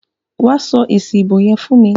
Wa sọ èsì ìbò yẹn fún mi.